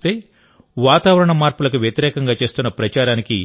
మొత్తమ్మీద చూస్తే వాతావరణ మార్పులకు వ్యతిరేకంగా చేస్తున్న ప్రచారానికి